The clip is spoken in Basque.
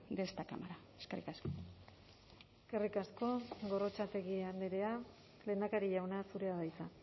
de esta cámara eskerrik asko eskerrik asko gorrotxategi andrea lehendakari jauna zurea da hitza